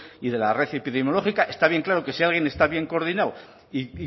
y de la red epidemiológica está bien claro que si alguien está bien coordinado y